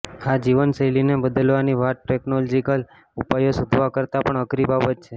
આ જીવનશૈલીને બદલવાની વાત ટેકનલોજીકલ ઉપાયો શોધવા કરતાં પણ અઘરી બાબત છે